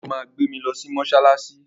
Dèbó máa gbé mi lọ sí mọ́ṣáláṣí